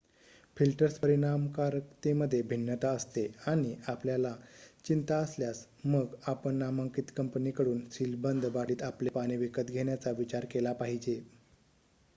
filters परिणामकारकतेमध्ये भिन्नता असते आणि आपल्याला चिंता असल्यास मग आपण नामांकित कंपनीकडून सीलबंद बाटलीत आपले पाणी विकत घेण्याचा विचार केला पाहिजे